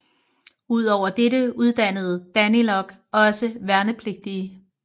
Ud over dette uddannede DANILOG også værnepligtige